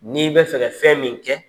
N'i bɛ fɛ fɛn min kɛ